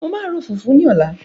Màá ro fùfú ní ọ̀la.